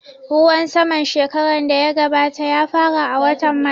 Ruwan saman shekaran da ya gabata ya fara a watan march